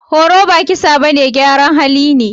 Horo ba kisa bane, gyaran hali ne.